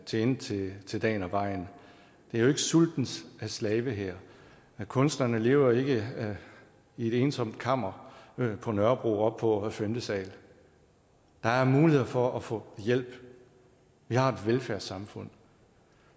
tjene til til dagen og vejen det er jo ikke sultens slavehær kunstnerne lever jo ikke i et ensomt kammer på nørrebro oppe på femte sal der er muligheder for at få hjælp vi har et velfærdssamfund